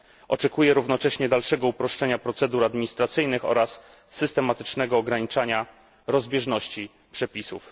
Oczekuję równocześnie dalszego uproszczenia procedur administracyjnych oraz systematycznego ograniczania rozbieżności przepisów.